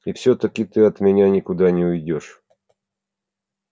и всё-таки ты от меня никуда не уйдёшь